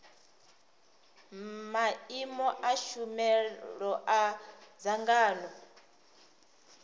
maimo a tshumelo a dzangano